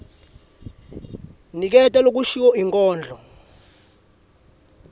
niketa lokushiwo inkondlo